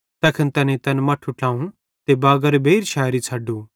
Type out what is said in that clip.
तैखन तैनेईं तैन मट्ठू ट्लाव ते बागारे बेइर शेरी छ़ड्डू